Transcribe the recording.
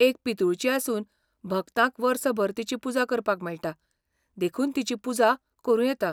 एक पितूळची आसून भक्तांक वर्सभर तिची पुजा करपाक मेळटा, देखून तिची पुजा करूं येता.